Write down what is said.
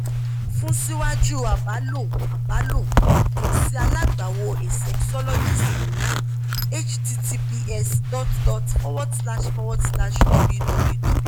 fun siwaju abalọ abalọ kan si alagbawọ a sexologist online https dot dot forward slash forward slash www